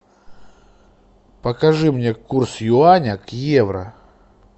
покажи мне курс юаня к евро